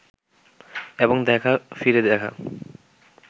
এবং দেখা ফিরে দেখা